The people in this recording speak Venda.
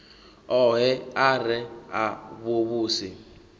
ohe a re a vhuvhusi